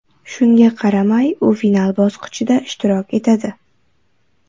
Shunga qaramay, u final bosqichida ishtirok etadi.